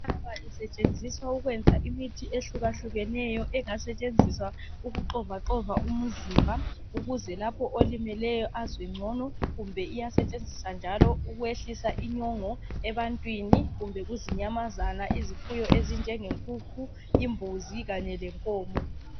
Yinhlaba isetshenziswa ukwenza imithi ehlukahlukeneyo engasetshenziswa ukuxovaxova umzimba ukuze lapho olimeleyo azwe ngcono. Kumbe iyasetshenziswa njalo ukwehlisa inyongo ebantwini, kumbe kuzinyamazana, izifuyo ezinjengenkukhu, imbuzi kanye lenkomo.